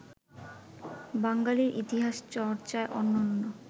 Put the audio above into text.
বাঙালীর ইতিহাস চর্চায় অনন্য